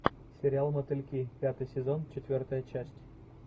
сериал мотыльки пятый сезон четвертая часть